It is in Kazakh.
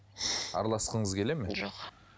араласқыңыз келеді ме жоқ